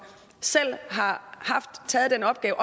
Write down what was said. selv har taget den opgave